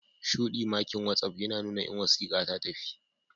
Shudi makin watsapp yina nuna in wasika tatafi.